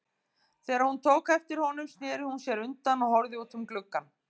Þegar hún tók eftir honum snéri hún sér undan og horfði út um gluggann.